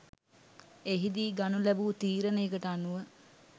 එහිදී ගනු ලැබූ තීරණයකට අනුව